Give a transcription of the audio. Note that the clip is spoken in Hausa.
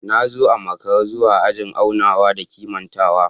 Na zo a makara zuwa ajin aunawa da kimantawa